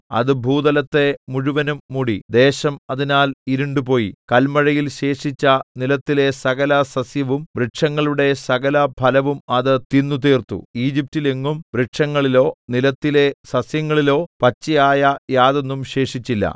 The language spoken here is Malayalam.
അത് ഭൂതലത്തെ മുഴുവനും മൂടി ദേശം അതിനാൽ ഇരുണ്ടുപോയി കല്മഴയിൽ ശേഷിച്ച നിലത്തിലെ സകലസസ്യവും വൃക്ഷങ്ങളുടെ സകലഫലവും അത് തിന്നുത്തീർത്തു ഈജിപ്റ്റിൽ എങ്ങും വൃക്ഷങ്ങളിലോ നിലത്തിലെ സസ്യങ്ങളിലോ പച്ചയായ യാതൊന്നും ശേഷിച്ചില്ല